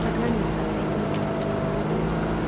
программист ответил я